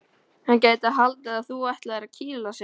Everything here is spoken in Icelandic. Hann gæti haldið að þú ætlaðir að kýla sig.